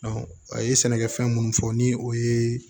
a ye sɛnɛkɛfɛn minnu fɔ ni o ye